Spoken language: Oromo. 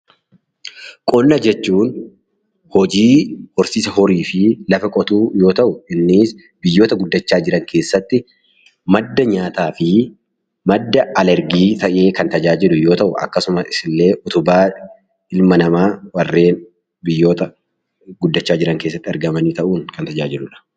Qonna jechuun hojii horsiisa horii fi lafa qotuu yoo ta'u, innis biyyoota guddachaa jiran keessatti madda nyaataa fi madda al-ergii ta'ee kan tajaajilu yoo ta'u, akkasumas illee utubaa ilma namaa warreen biyyoota gurguddachaa jiran keessatti argaman ta'uun kan tajaajiludha.